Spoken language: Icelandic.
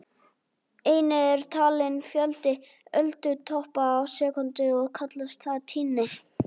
Einnig er talinn fjöldi öldutoppa á sekúndu og kallast það tíðni.